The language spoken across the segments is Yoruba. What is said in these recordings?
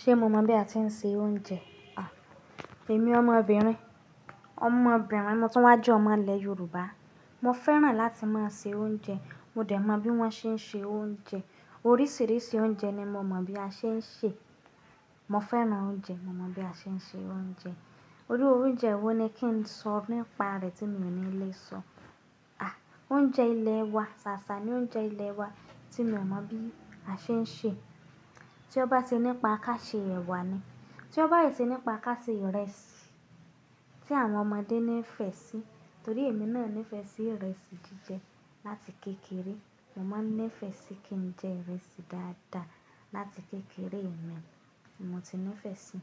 Ṣé mo mọ̀ bí a ti ń se oúnjẹ? Èmi ọmọbìnrin, ọmọbìnrin motún wá jẹ́ ọmọ ilẹ̀ Yorùbá. Mo fẹ́ràn láti máa se oúnjẹ, mo dẹ̀ mọ bí wọ́n ṣe ń ṣe oúnjẹ. Oríṣìíríṣìí oúnjẹ ni mo mọ̀ bí a ṣe ń ṣè. Mo fẹ́ràn oúnjẹ, mo mọ̀ bí a ṣe ń ṣe oúnjẹ. Iru oúnjẹ wo ni kí n sọ nípa rẹ̀ tí mi ò ní lè sọ? À, oúnjẹ ilẹ̀ wa, ṣàṣà ni oúnjẹ ilẹ̀ wa tí mi ò mọ̀ bí a ṣe ń ṣe. Tí ó bá ti nípa ká ṣe ẹ̀wà ni, tí ó bá si ti nípa ká ṣe ìrẹsì tí àwọn ọmọdé nífẹ̀ẹ́ sí torí èmi náà nífẹ̀ẹ́ sí ìrẹsì jíjẹ láti kékeré. Mo máa ń nífẹ̀ẹ́ sí kí n jẹ ìrẹsì dáadáa láti kékeré mi, mo ti nífẹ̀ẹ́ sí i.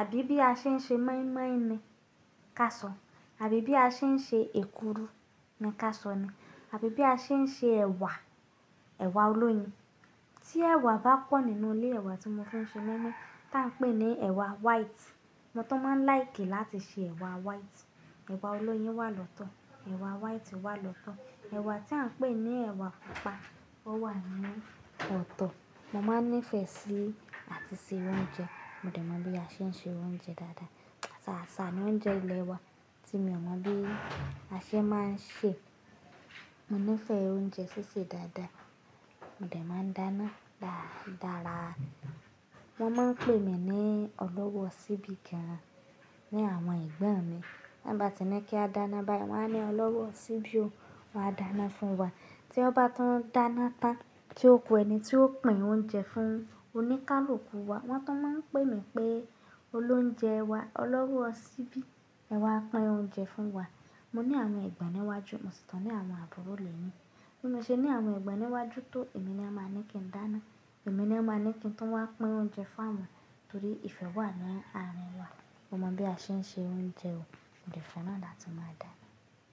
Àbí bí a ṣe ń ṣe mọ́ímọ́í ni, ká sọ. Àbí bí a ṣe ń ṣe èkuru ni ká sọ ni. Àbí bí a ṣe ń ṣe ẹ̀wà, ẹ̀wà olóyin. Tí ẹ̀wà bá pọ̀ nínú ilé, ẹ̀wà tí mo fi ń ṣe moimoi tí a ń pè ní ẹ̀wà white. Mo tun máa ń láìkì láti ṣe ẹ̀wà white. Ẹ̀wà olóyin wà lọ́tọ̀, ẹ̀wà white wà lọ́tọ̀, ẹ̀wà tí à ń pè ní ẹ̀wà pupa ó wà ní ọ̀tọ̀. Mo máa ń nífẹ̀ẹ́ sí àti se oúnjẹ, mo dẹ̀ mọ̀ bí a ṣe ń ṣe oúnjẹ dáadáa. Ṣàṣà ni oúnjẹ ilẹ̀ wa tí mi ò mọ̀ bí a ṣe máa ń ṣè. Mo nífẹ̀ẹ́ oúnjẹ sísè dáadáa, mo dẹ̀ máa ń dáná dára. Wọ́n máa ń pè mí ní Ọlọ́wọ́ ṣíbí gan-an ní àwọn ẹ̀gbọ́n mi. Bí ọ bá ti ní kí a dáná báyìí, wọ́n á ní Ọlọ́wọ́ ṣíbí ó, wàá dáná fún wa. Tí ọ bá tún dáná tán tí ó ku ẹni tí ó pín oúnjẹ fún, ó ní ká lu kú wa. Wọ́n tun máa ń pè mí pé olóunjẹ wa, Ọlọ́wọ́ ṣíbí, ẹ̀wà pín oúnjẹ fún wa. Mo ní àwọn ẹ̀gbọ́n níwájú, mo sì tún ní àwọn àbúrò lẹ́yìn. Bí mo ṣe ní àwọn ẹ̀gbọ́n níwájú tó èmi ni a máa ní kí n dáná, èmi ni wọ́n máa ní kí n tó wá pín oúnjẹ fún awọn torí ìfẹ́ wà ní arin wa. Mo mọ̀ bí a ṣe ń ṣe oúnjẹ o, mo dẹ̀ fẹ́ràn láti máa dáná.